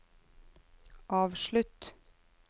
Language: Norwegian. avslutt